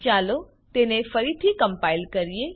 ચાલો તેને ફરીથી કમ્પાઈલ કરીએ